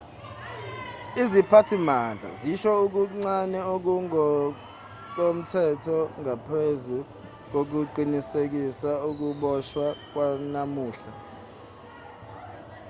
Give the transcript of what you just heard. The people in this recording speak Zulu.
iziphathimandla zisho okuncane okungokomthetho ngaphezu kokuqinisekisa ukuboshwa kwanamuhla